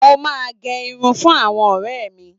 Mo máa n gé irun fún àwọn ọrẹ mí